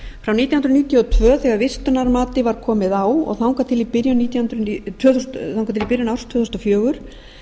frá nítján hundruð níutíu og tvö þegar vistunarmati var komið á og þangað til í byrjun árs tvö þúsund og fjögur